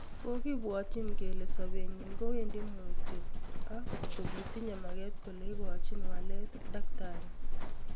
�kogipwati kelen sopen nyin kowendi mutyo ak kogitinye maget kole igochin walet�dkt